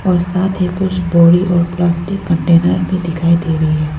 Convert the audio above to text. और साथ ही कुछ बोरी और प्लास्टिक कंटेनर भी दिखाई दे रही है।